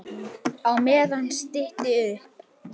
Á meðan stytti upp.